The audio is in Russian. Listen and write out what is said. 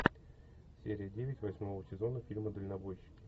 серия девять восьмого сезона фильма дальнобойщики